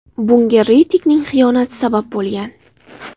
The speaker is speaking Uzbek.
Bunga Ritikning xiyonati sabab bo‘lgan.